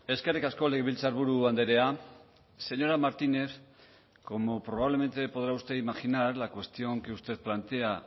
eskerrik asko legebiltzarburu andrea señora martínez como probablemente podrá usted imaginar la cuestión que usted plantea